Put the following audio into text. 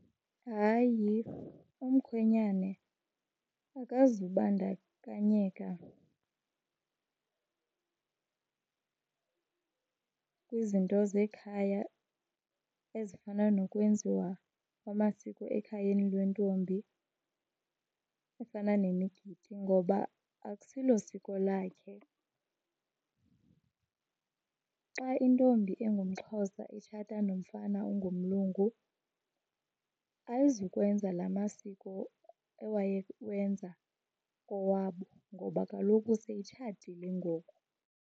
Hayi, umkhwenyane akazubandakanyeka kwizinto zekhaya ezifana nokwenziwa kwamasiko ekhayeni lwentombi efana nemigidi, ngoba akusilo siko lakhe. Xa intombi engumXhosa itshata nomfana ongumlungu ayizukwenza laa masiko ewayewenza kowabo ngoba kaloku seyitshatile ngoku.